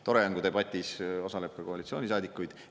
Tore on, kui debatis osaleb ka koalitsioonisaadikuid.